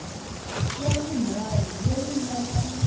ya vunharhu leyi nga na